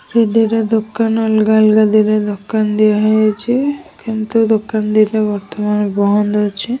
ଦି ଦିଇଟା ଦୋକାନ୍ ଅଲ୍ଗା ଅଲ୍ଗା ଦିଇଟା ଦିଆ ହେଇଛି । କିନ୍ତୁ ଦୋକାନ୍ ଦିଇଟା ବର୍ତ୍ତମାନ ବନ୍ଦ୍ ଅଛି।